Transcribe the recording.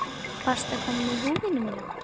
Varstu að koma með húfuna mína?